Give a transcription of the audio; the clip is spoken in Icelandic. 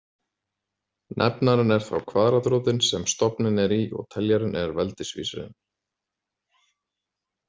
Nefnarinn er þá kvaðratrótin sem stofninn er í og teljarinn er veldisvísirinn.